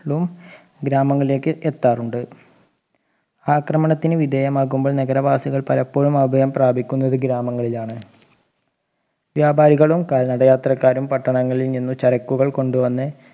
ഗ്രാമങ്ങളിലേക്ക് എത്താറുണ്ട് ആക്രമണത്തിന് വിധേയമാകുമ്പോൾ നഗരവാസികൾ പലപ്പോഴും അഭയം പ്രാപിക്കുന്നത് ഗ്രാമങ്ങളിലാണ് വ്യാപാരികളും കാൽനടയാത്രക്കാരും പട്ടണങ്ങളിൽ നിന്നും ചരക്കുകൾ കൊണ്ട് വന്ന്